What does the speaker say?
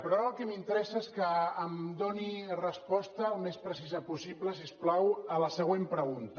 però ara el que m’interessa és que em doni resposta al més precisa possible si us plau a la següent pregunta